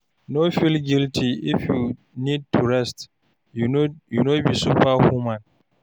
No feel guilty if you need to rest, you no be super human.